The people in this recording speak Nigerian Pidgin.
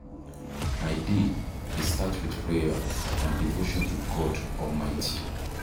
My day dey start with prayer and devotion to God Almighty.